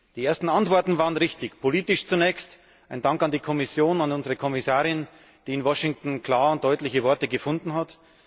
Die ersten Antworten waren richtig, politisch zunächst Ein Dank an die Kommission und an unsere Kommissarin, die in Washington klare und deutliche Worte gefunden hat!